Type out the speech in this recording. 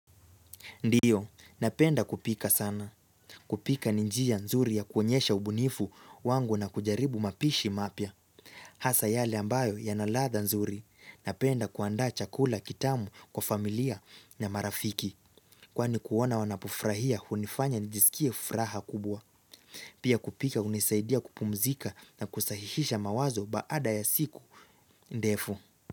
Ndiyo, napenda kupika sana. Kupika ni njia nzuri ya kuonyesha ubunifu wangu na kujaribu mapishi mapya. Hasa yale ambayo yana ladha nzuri. Napenda kuandaa chakula kitamu kwa familia na marafiki. Kwani kuona wanapo furahia hunifanya njisikie furaha kubwa. Pia kupika unisaidia kupumzika na kusahihisha mawazo baada ya siku ndefu.